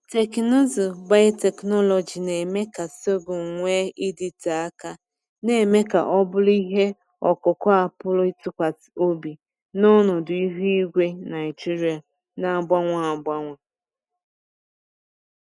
Teknụzụ biotechnology na-eme ka sorghum nwee ịdịte aka, na-eme ka ọ bụrụ ihe ọkụkụ a pụrụ ịtụkwasị obi n’ọnọdụ ihu igwe Naijiria na-agbanwe agbanwe.